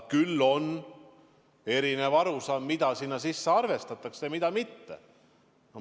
Küll aga on erinevaid arusaamu, mida sinna sisse arvestatakse ja mida mitte.